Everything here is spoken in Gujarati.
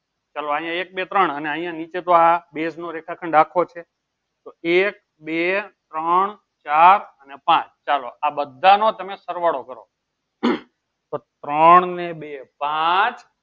ચલો આહિયા એક બે ત્રણ ચાર અને અહિયાં નીચે તો base નો રેખાખંડ આખો છે. તો એક બે ત્રોણ ચાર અને પાંચ. ચાલો આ બધાનો તમે સરવાળો કરો હમ તો ત્રોણ ને બે પાંચ